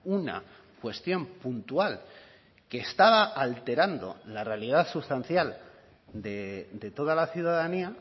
una cuestión puntual que estaba alterando la realidad sustancial de toda la ciudadanía